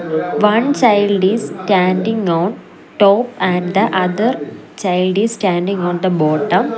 one child is standing on top and the other child is standing on the bottom.